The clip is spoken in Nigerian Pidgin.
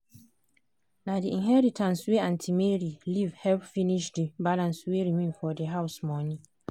na the inheritance wey aunty mary leave help finish the balance wey remain for the house money.